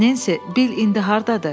Nensi, Bil indi hardadır?